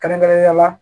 Kɛrɛnkɛrɛnnenya la